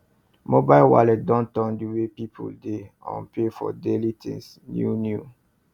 mobile wallet don turn the way people dey um pay for daily things new new